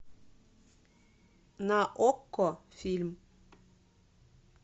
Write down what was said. на окко фильм